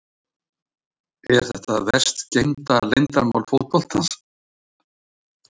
Er þetta verst geymda leyndarmál fótboltans?